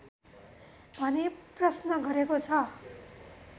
भनी प्रश्न गरेको छ